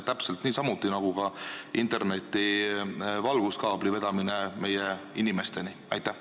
Täpselt niisamuti, nagu veetakse ka interneti valguskaabel meie inimesteni.